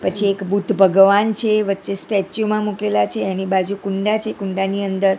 પછી એક બુદ્ધ ભગવાન છે વચે સ્ટેચ્યુ માં મુકેલા છે એની બાજુ કુંડા છે કુંડાની અંદર--